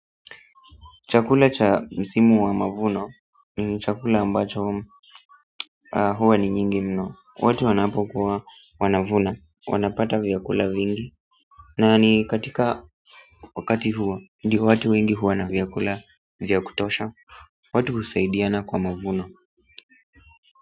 Chakula cha msimu wa mavuno ni chakula ambacho huwa ni nyingi mno watu wanapokuwa wanavuna wanapata vyakula vingi na ni katika wakati huo, ndio watu wengi huwa na vyakula vya kutosha watu husaidiana kwa mavuno.